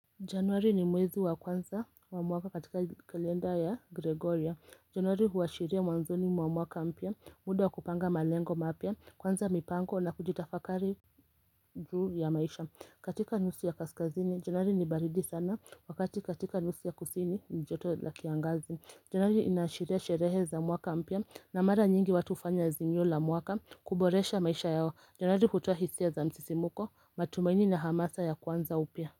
Januari ni mwezi wa kwanza wa mwaka katika kalenda ya gregorya. Januari huashiria mwanzoni wa mwaka mpya muda kupanga malengo mapya kwanza mipango na kujitafakari juu ya maisha katika nusu ya kaskazini januari nibaridi sana wakati katika nusu ya kusini njoto la kiangazi. Januari inashiria sherehe za mwaka mpya na mara nyingi watu hufanya azimio la mwaka kuboresha maisha yao Januari hutoa hisia za msisimuko, matumaini na hamasa ya kwanza upya.